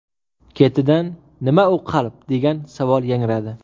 Ketidan: ‘Nima u qalb?’, degan savol yangradi.